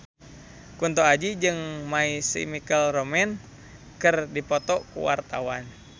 Kunto Aji jeung My Chemical Romance keur dipoto ku wartawan